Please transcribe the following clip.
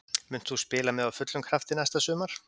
Munt þú spila með á fullum krafti næsta sumar?